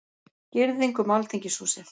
Girðing um Alþingishúsið